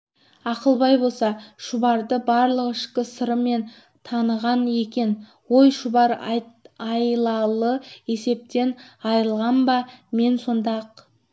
ақылбай болса шұбарды барлық ішкі сырымен таныған екен ой шұбар айлалы есептен айрылған ба мен сонда-ақ